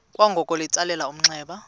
kwangoko litsalele umnxeba